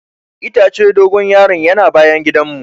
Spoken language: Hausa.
Itacen dogon yaro'n yana bayan gidan mu.